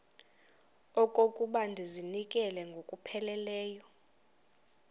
okokuba ndizinikele ngokupheleleyo